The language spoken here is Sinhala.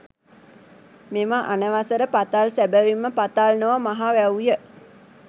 මෙම අනවසර පතල් සැබැවින්ම පතල් නොව මහ වැව්ය.